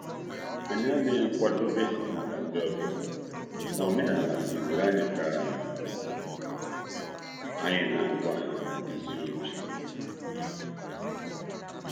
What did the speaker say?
Anyị adịghị njikere maka ndị ọbịa, mana ọdịnala kụziiri anyị ka anyị na eleta ọbịa mgbe niile.